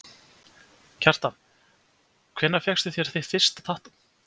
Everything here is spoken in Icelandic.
Kjartan: Hvenær fékkstu þér þitt fyrsta tattú?